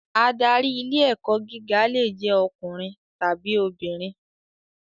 Adarí ilé-ẹ̀kọ́ gíga lè jẹ́ ọkùnrin tàbí obìnrin.